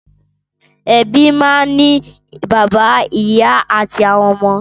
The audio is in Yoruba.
Ẹbí máa ń ní bàbá, ìyá àti àwọn ọmọ.